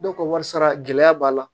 Dɔw ka warisaa gɛlɛya b'a la